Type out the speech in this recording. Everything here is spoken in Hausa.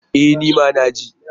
E! ni ma na ji.